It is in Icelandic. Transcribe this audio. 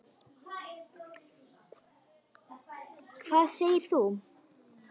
Hvað segir þú?